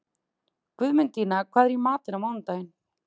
Guðmundína, hvað er í matinn á mánudaginn?